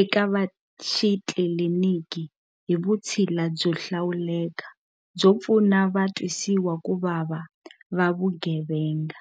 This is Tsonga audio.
eka vaxitliliniki hi vutshila byo hlawuleka byo pfuna va twisiwakuvava va vugevenga.